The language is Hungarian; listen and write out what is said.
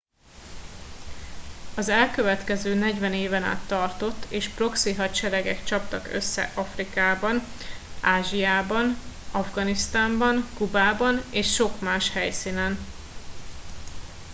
az elkövetkező 40 éven át tartott és proxy hadseregek csaptak össze afrikában ázsiában afganisztánban kubában és sok más helyszínen